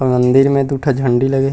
अऊ मंदिर में दू ठन झंडी लगे हे।